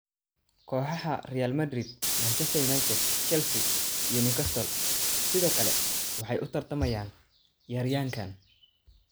Kooxaha Real Madrid, Manchester United, Chelsea, iyo Newcastle sidoo kale waxay u tartamayaan ciyaaryahankan.